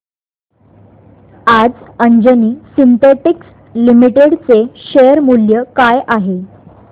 आज Anjani synthetics limited चे share मूल्य काय आहे